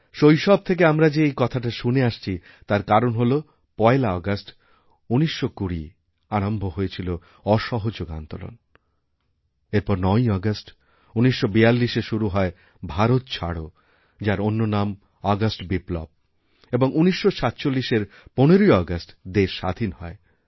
শৈশব থেকে আমরা যে এই কথাটা শুনে আসছিতার কারণ হল ১লা আগস্ট ১৯২০ আরম্ভ হয়েছিল অসহযোগ আন্দোলন এরপর ৯ই আগস্ট১৯৪২এ শুরু হয় ভারত ছাড়ো যার অন্য নাম আগস্ট বিপ্লব এবং ১৯৪৭এর ১৫ইআগস্ট দেশ স্বাধীন হয়